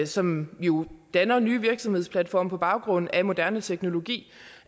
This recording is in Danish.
som jo danner nye virksomhedsplatforme på baggrund af moderne teknologi